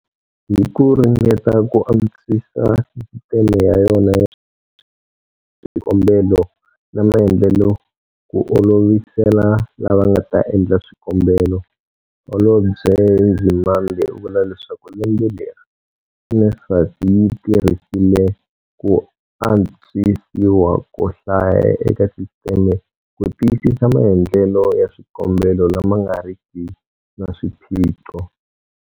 Hi ku ringeta ku antswisa sisiteme ya yona ya swikombelo na maendlelo ku olovisela lava nga ta endla swikombelo, Holobye Nzimande u vula leswaku lembe leri, NSFAS yi tirhisile ku antswisiwa ko hlaya eka sisiteme ku tiyisisa maendlelo ya swikombelo lama nga riki na swiphiqo.